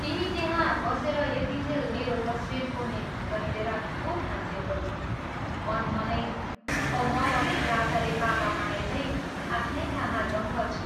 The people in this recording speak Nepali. तिमी त्यहाँ बसेर यतिज्जेल मेरो तस्वीर कोर्ने ढङ्ग हेरेर खूब हाँस्यौ होली, मन मनैमा औं म भने लाटाले पापा पाए झैं आफ्नै काममा दङ्ग छु।